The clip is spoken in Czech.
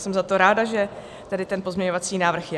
Jsem za to ráda, že tady ten pozměňovací návrh je.